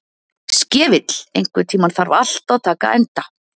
Skefill, einhvern tímann þarf allt að taka enda.